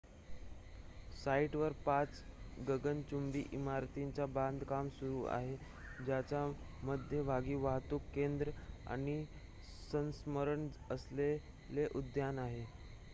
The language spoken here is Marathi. साइटवर पाच गगनचुंबी इमारतींचे बांधकाम सुरू आहे ज्याच्या मध्यभागी वाहतूक केंद्र आणि स्मरणार्थ असलेले उद्यान आहे